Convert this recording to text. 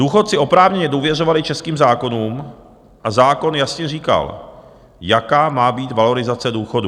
Důchodci oprávněně důvěřovali českým zákonům a zákon jasně říkal, jaká má být valorizace důchodů.